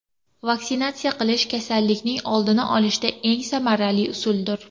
Vaksinatsiya qilish kasallikning oldini olishda eng samarali usuldir.